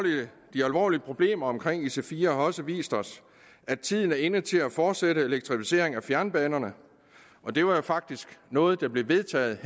de alvorlige problemer omkring ic4 har også vist os at tiden er inde til at fortsætte elektrificering af fjernbanerne og det var jo faktisk noget der blev vedtaget